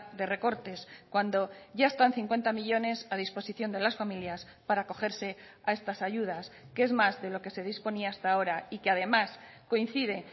de recortes cuando ya están cincuenta millónes a disposición de las familias para acogerse a estas ayudas que es más de lo que se disponía hasta ahora y que además coincide